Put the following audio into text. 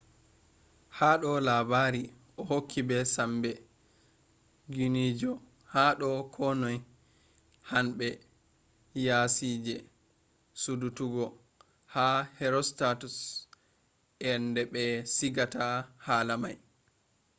hado labari o hokki be sambe guinigo hado ko noi. hanbe yasije sudututgo ha herostatus’s ende be sigata hala mai